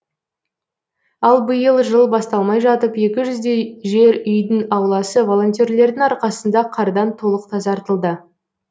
ал биыл жыл басталмай жатып екі жүздей жер үйдің ауласы волонтерлердің арқасында қардан толық тазартылды